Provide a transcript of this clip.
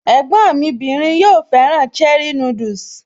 Ẹ̀gbọ́n mí bìnrin yóò fẹ́ràn cherie núdùsì